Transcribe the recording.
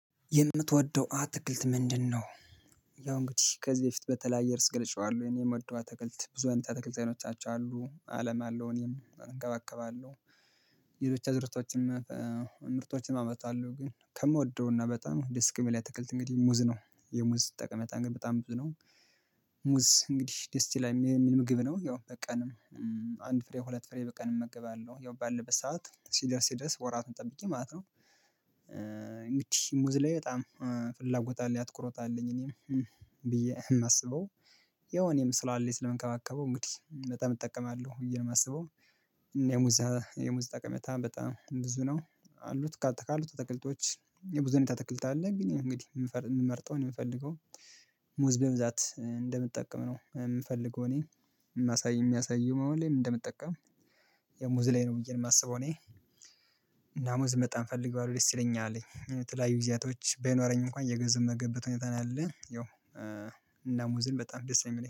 የምትወደው አትክልት ምንድነው ያው እንግዲህ ከዚህ በፊት በተለያየ ርስ ገለጨዋለሁ የኔ የምወደው አትክልት ብዙ አይነት አትክልት አይኖቻቸው አሉ አለም አለው እኔም እንከባከባለው ሌሎች አዕዝርቶችም ምርቶችንም አመርታለሁ። ግን ከምወደውና በጣም ደስ ከሚለኝ አትክልት እንግዲህ ሙዝ ነው። የሙዝ ጠቀሜታ ግን በጣም ብዙ ነው ሙዝ እንግዲህ ደስ ይላል የሚል ምግብ ነው ያው በቀንም አንድ ፍሬ ሁለት ፍሬ በቀን እመግባለሁ። ያው ባለበት ሰዓት ሲደርስ ሲደርስ ወራቱን ጠብቄ ማለት ነው። እንግዲህ ሙዝ ላይ በጣም ፍላጎት አለኝ አትኩሮት አለኝ እኔም ብዬ የማስበው ያው እኔም ስላለኝ፣ ስለምከባከበው እንግዲህ በጣም እጠቀማለሁ ብዬ ነው የማስበው። የሙዝ የሙዝ ጠቀሜታ በጣም ብዙ ነው። አሉት ካሉት አትክልቶች ያው ብዙ አይነት አትክልት አለ ግን እንግዲህ የምመርጠው ነው የምፈልገው ሙዝ በብዛት እንደምጠቀም ነው የምፈልገው እኔ የማሳይ የሚያሳይው ሁሌም እንደምጠቀም ያው ሙዝ ላይ ነው ብዬ ነው የማስበው እኔ። እና ሙዝን በጣም እፈልገዋለሁ። ደስ ይለኛል የተለያዩ ጊዜያቶች ባይኖረኝ እንኳን እየገዛሁ የምመገብበት ሁኔታ ነው ያለ። ያው እና ሙዝ በጣም ደስ ነው የሚለኝ።